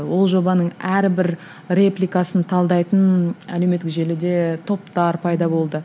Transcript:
ол жобаның әрбір репликасын талдайтын әлеуметтік желіде топтар пайда болды